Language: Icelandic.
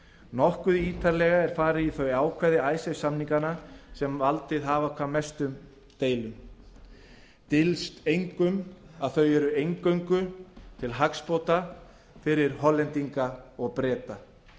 nokkuð ítarlega er farið í þau ákvæði icesave samninganna sem valdið hafa hvað mestum deilum dylst engum að þau eru eingöngu til hagsbóta fyrir hollendinga og breta